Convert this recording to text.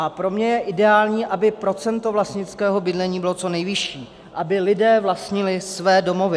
A pro mě je ideální, aby procento vlastnického bydlení bylo co nejvyšší, aby lidé vlastnili své domovy.